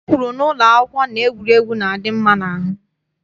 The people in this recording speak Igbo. E kwuru n'ụlọ akwụkwọ na egwuregwu na-adị mma n'ahụ.